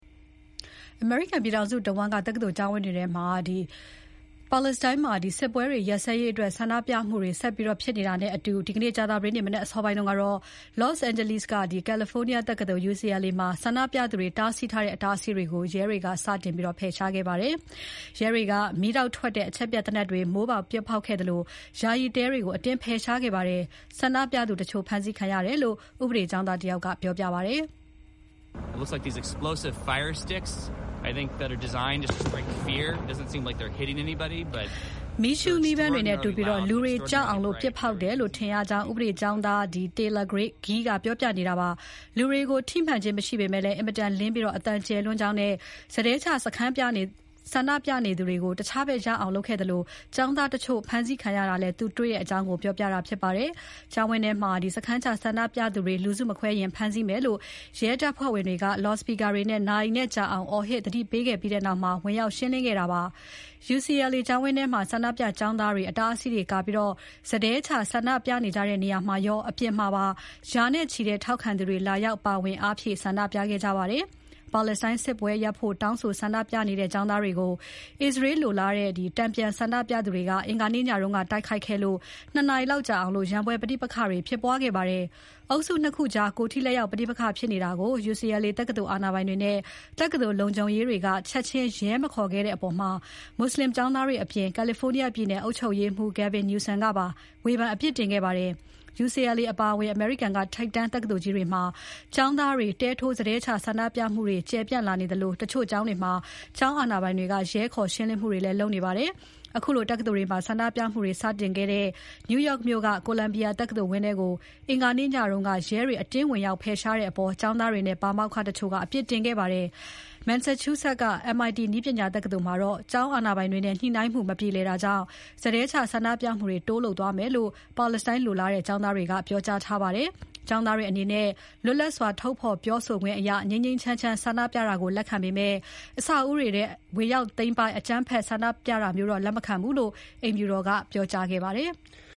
အမေရိကန်ပြည်ထောင်စုတဝန်း တက္ကသိုလ်ကျောင်းဝန်းတွေထဲမှာ အစ္စရေးစစ်ပွဲ အဆုံးသတ်ရေးဆန္ဒပြမှုတွေဆက်လက်ဖြစ်ပွားနေတာမှာ ကြာသပတေးနေ့ မနက်အစောပိုင်းကတော့ Los Angeles က California တက္ကသိုလ်မှာ ဆန္ဒပြသူတွေ တားဆီးထားတဲ့ အတားအဆီးတွေကို ရဲတွေ စတင်ဖယ်ရှားခဲ့ပါတယ်။ ရဲတွေက မီးတောက်ထွက်တဲ့ အချက်ပြသေနတ်တွေ မိုးပေါ်ပစ်ဖေါက်ခဲ့သလို ယာယီတဲတွေကို အတင်းဖယ်ရှားခဲ့ပါတယ်။ ဆန္ဒပြသူ တချို့ဖမ်းဆီးခံရတယ်လို့ ဥပဒေကျောင်းသားတယောက်က ပြောပါတယ်။ မီးရှုးမီးပန်းတွေနဲ့ တူပြီး လူတွေကြောက်အောင် ပစ်ဖောက်တယ်လို့ ထင်တယ်လို့ ဥပဒေကျောင်းသား Taylor Gee ကပြောပါတယ်။ လူတွေကို ထိမှန်ခြင်း မရှိပေမဲ့ အင်မတန်လင်းပြီး အသံကျယ်လွန်းကြောင်းနဲ့ စတည်းချ ဆန္ဒပြနေသူတွေကို တခြားဘက်ရောက်အောင်လုပ်ခဲ့သလို ကျောင်းသားတချို့ ဖမ်းခံရတာလည်း သူတွေ့တဲ့အကြောင်း သူကပြောပါတယ်။ ကျောင်းဝန်းထဲမှာ စခန်းချဆန္ဒပြသူတွေ လူစုမခွဲရင် ဖမ်းဆီးမယ်လို့ ရဲတပ်ဖွဲ့ဝင်တွေက လော်စပီကာတွေနဲ့ နာရီနဲ့ကြာအောင် အော်ဟစ် ခြိမ်းခြောက်ခဲ့ပြီးနောက် ဝင်ရောက်ရှင်းလင်းခဲ့တာဖြစ်ပါတယ်။ UCLA ကျောင်းဝန်းထဲမှာ ဆန္ဒပြ ကျောင်းသားတွေ အတားအဆီးတွေကာပြီး စတည်းချဆန္ဒပြနေကြတဲ့ နေရာမှာရော အပြင်မှာပါ ရာနဲ့ချီတဲ့ ထောက်ခံသူတွေ လာရောက် ပါဝင်အားဖြည့်ဆန္ဒပြနေကြပါတယ်။ ပါလက်စတိုင်းစစ်ပွဲရပ်ဖို့ တောင်းဆိုဆန္ဒပြနေတဲ့ ကျောင်းသားတွေကို အစ္စရေးလိုလားတဲ့ တန်ပြန်ဆန္ဒပြသူတွေက အင်္ဂါနေ့ညက တိုက်ခိုက်ခဲ့လို့ ၂ နာရီလောက်ကြာအောင် ရန်ပွဲ ပဋိပက္ခတွေဖြစ်ပွားခဲ့ပါတယ်။ အုပ်စု ၂ ခုကြား ကိုယ်ထိလက်ရောက် ပဋိပက္ခတွေဖြစ်နေတာကို UCLA တက္ကသိုလ် အာဏာပိုင်တွေနဲ့ တက္ကသိုလ်လုံခြုံရေးရဲတွေက ချက်ချင်းရဲ မခေါ်ခဲ့တဲ့အပေါ် မွတ်ဆလင်ကျောင်းသားတွေအပြင် California ပြည်နယ်အုပ်ချုပ်ရေးမှုး Gavin Newsom ကပါ ဝေဖန်အပြစ်တင်ခဲ့ပါတယ်။ UCLA အပါအဝင် အမေရိကန်က ထိပ်တန်းတက္ကသိုလ်ကြီးတွေမှာ ကျောင်းသားတွေ တဲထိုး စတည်းချဆန္ဒပြမှုတွေ ကျယ်ပြန့်လာနေသလို တချို့ကျောင်းတွေမှာ ကျောင်းအာဏာပိုင်တွေက ရဲခေါ် ရှင်လင်းမှုတွေ လုပ်နေပါတယ်။ အခုလို တက္ကသိုလ်တွေမှာ ဆန္ဒပြမှုတွေ စတင်ခဲ့တဲ့ New York မြို့က Columbia တက္ကသိုလ်ဝန်းထဲကို အင်္ဂါနေ့ညက ရဲက အတင်းဝင်ရောက် ဖယ်ရှားတဲ့အပေါ် ကျောင်းသားတွေနဲ့ ပါမောက္ခတချို့ကပါ အပြစ်တင်ခဲ့ပါတယ်။ Massachusett က MIT နည်းပညာတက္ကသိုလ်မှာတော့ ကျောင်းအာဏာပိုင်တွေနဲ့ ညှိနှိုင်းမှုတွေ မပြေလည်တာကြောင့် စတည်းချဆန္ဒပြမှုတွေ တိုးလုပ်သွားမယ်လို့ ပါလက်စတိုင်းလိုလားတဲ့ ကျောင်းသားတွေက ပြောကြားထားကြပါတယ်။ ကျောင်းသားတွေ လွတ်လပ်စွာ ထုတ်ဖော်ပြောဆိုခွင့်အရ ငြိမ်းငြိမ်းချမ်းချမ်း ဆန္ဒပြတာကို လက်ခံပေမဲ့ အဆောက်အဦတွေထဲ ဝင်ရောက် သိမ်းပိုက်၊ အကြမ်းဖက် ဆန္ဒပြတာမျိုး လက်မခံဘူးလို့ အိမ်ဖြူတော်က ပြောကြားခဲ့ပါတယ်။